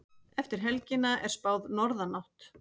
Eftir helgina er spáð norðanátt